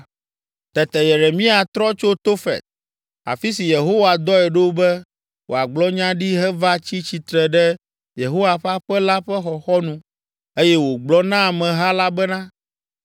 Tete Yeremia trɔ tso Tofet, afi si Yehowa dɔe ɖo be wòagblɔ nya ɖi heva tsi tsitre ɖe Yehowa ƒe aƒe la ƒe xɔxɔnu eye wògblɔ na ameha la bena,